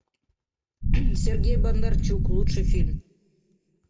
сергей бондарчук лучший фильм